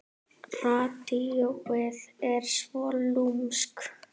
Radíóið er svo lúmskt.